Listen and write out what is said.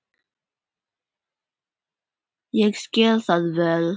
Ég skil það vel.